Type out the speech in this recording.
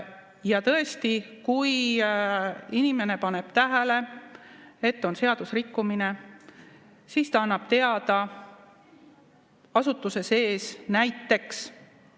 Ja tõesti, kui inimene paneb tähele, et on seadusrikkumine, siis ta annab teada, asutuse sees näiteks.